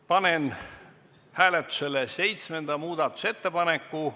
Panen hääletusele seitsmenda muudatusettepaneku.